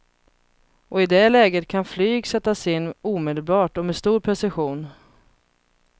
Och i det läget kan flyg sättas in omedelbart och med stor precision.